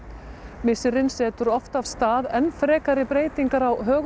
missirinn setur oft af stað enn frekari breytingar á högum